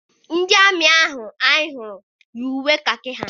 Ndị amị ahụ anyị hụrụ yi uwe kakị ha.